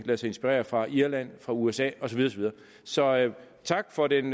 lade sig inspirere fra irland fra usa og så videre så tak for den